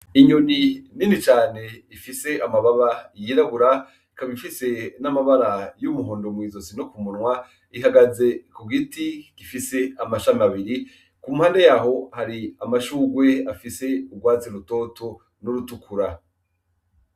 Inyoni nini cane y'irabura ikaba ifise n'amabara y'umuhondo mwizosi no kumunwa ihagaze kugiti gifise amashami abiri ,impande yaho Hari amashurwe y'urwatsi rutoto n'udutukura.